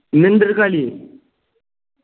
ഇന്ന് ഇണ്ടൊരു കളി